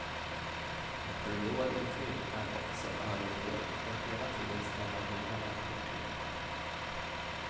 En korridor intill är också överfull och hela tiden strömmar nya människor till.